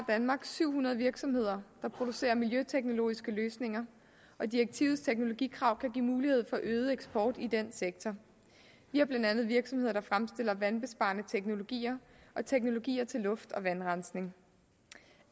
danmark syv hundrede virksomheder der producerer miljøteknologiske løsninger og direktivets teknologikrav kan give mulighed for øget eksport i den sektor vi har blandt andet virksomheder der fremstiller vandbesparende teknologier og teknologier til luft og vandrensning